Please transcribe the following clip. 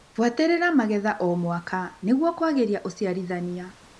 Buatĩrĩra magetha o mwaka nĩguo kwagĩria ũciarithania.